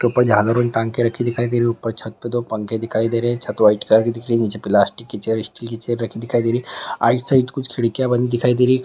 झालर और टांग कर रखी दिखाई दे रही है ऊपर छत पर दो पंखे दिखाई दे रहे हैं | छत वाइट कलर की दिख रही है | निचे प्लास्टिक की चेयर स्टील की चेयर रखी दिखाई दे रही है साइड कुछ खिड़किया बनी दिखाई दे रही ।